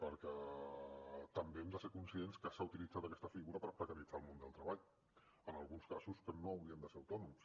perquè també hem de ser conscients que s’ha utilitzat aquesta figura per precaritzar el món del treball en alguns casos que no haurien de ser autònoms